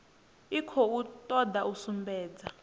i khou toda u sumbedza